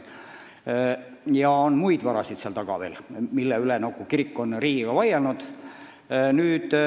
Ja on muidki varasid, mille pärast kirik on riigiga vaielnud.